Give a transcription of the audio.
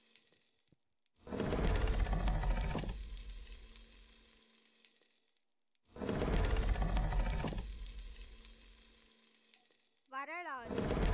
வரலாறு.